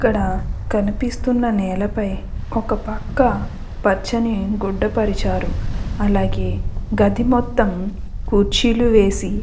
ఇక్కడ కనిపిస్తున్న నేలపై ఒక పక్క పచ్చని గుడ్డ పరిచారు అలాగే గది మొత్తం కుర్చీలు వేసి --